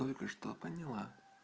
только что поняла